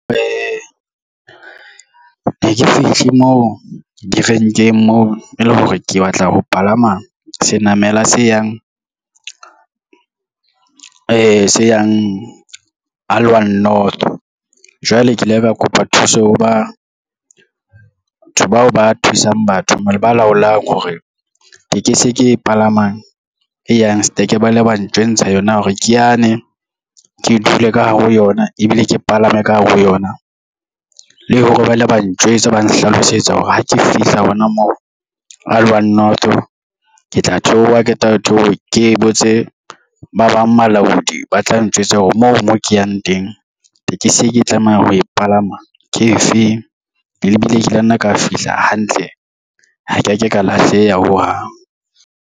Ke ke fihle moo direnkeng moo e le hore ke batla ho palama senamela se yang Aliwal North, jwale ke ile ka kopa thuso ho batho bao ba thusang batho, ba laolang hore tekesi e ke palamang e yang Sterke ba le ba ntjwentsha yona hore ke yane ke dula ka hare ho yona ebile ke palame ka hare ho yona. Le hore ba ile ba ntjwetsa ba nhlalosetsa hore ha ke fihla hona moo Aliwal North, ke tla theowa ha ke qeta ho theowa ke botse ba bang balaodi ba tla ntjwetsa hore moo mo ke yang teng tekesi e ke tlamehang ho e palama ke efeng, ebile ke la nna ka fihla hantle ha ke ya ka ka lahleha ho hang.